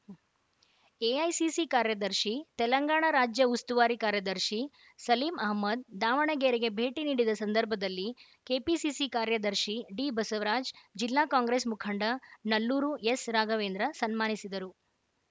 AICC ಕಾರ್ಯದರ್ಶಿ ತೆಲಂಗಾಣ ರಾಜ್ಯ ಉಸ್ತುವಾರಿ ಕಾರ್ಯದರ್ಶಿ ಸಲೀಂ ಅಹಮ್ಮದ್‌ ದಾವಣಗೆರೆಗೆ ಭೇಟಿ ನೀಡಿದ ಸಂದರ್ಭದಲ್ಲಿ ಕೆಪಿಸಿಸಿ ಕಾರ್ಯದರ್ಶಿ ಡಿಬಸವರಾಜ ಜಿಲ್ಲಾ ಕಾಂಗ್ರೆಸ್‌ ಮುಖಂಡ ನಲ್ಲೂರು ಎಸ್‌ರಾಘವೇಂದ್ರ ಸನ್ಮಾನಿಸಿದರು